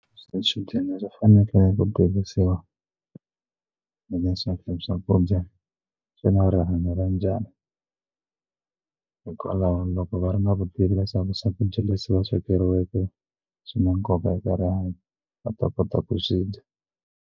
Swichudeni swi fanekele ku tivisiwa hileswaku swakudya swi na rihanyo ra njhani hikwalaho loko va ri na vutivi leswaku swakudya leswi va swi swekeriweke swi na nkoka eka rihanyo va ta kota ku swi dya.